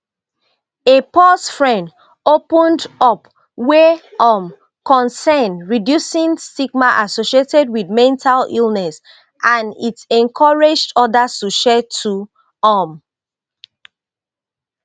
a pause fren opened up wey um concern reducing stigma associated wit mental illness and it encouraged odas to share too um